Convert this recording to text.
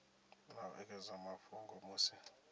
na u ekedza mafhungo musi